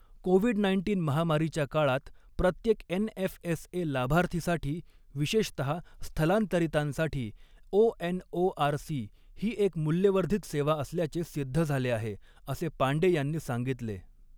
Covid nineteen महामारीच्या काळात प्रत्येक एनएफएसए लाभार्थीसाठी विशेषतहा स्थलांतरितांसाठी ओएनओआरसी ही एक मूल्यवर्धित सेवा असल्याचे सिद्ध झाले आहे असे पांडे यांनी सांगितले.